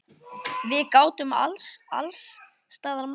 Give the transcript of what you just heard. Við gátum alls staðar mæst.